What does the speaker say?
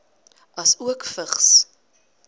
asook vigs